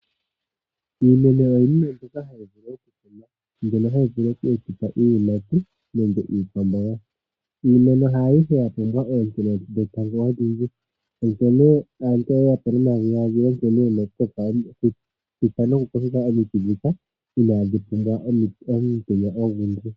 Iimeno oyo iinima mbyono hayi vulu okukunwa, mbyono hayi etitha iiyimati nenge iikwamboga. Iimeno haayihe ya pumbwa oonte dhetango odhindji, onkene aantu oye ya po nomadhiladhilo shi na sha na nokukokeka omiti ndhika inaadhi pumbwa omutenya ogundji.